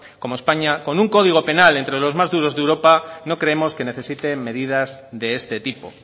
como españa con un código penal entre los más duros de europa no creemos que necesite medidas de este tipo